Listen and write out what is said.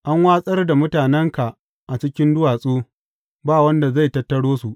An watsar da mutanenka a cikin duwatsu, ba wanda zai tattaro su.